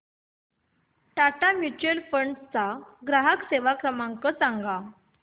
Tata mutual fund ग्राहक सेवा number सांगा